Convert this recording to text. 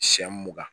Siɲɛ mugan